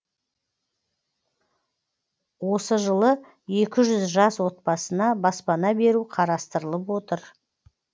осы жылы екі жүз жас отбасына баспана беру қарастырылып отыр